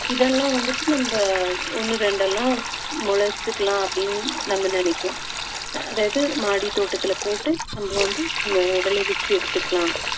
இதெல்லாம் வந்துட்டு நம்ம ஒண்ணு ரெண்டெல்லாம் முளைச்சுக்கலாம் அப்படின்னு நம்ம நினைக்கலாம் அதாவது மாடித்தோட்டத்தில போட்டு நம்ம வந்து விளை~ விளைவிச்சு எடுத்துக்கலாம்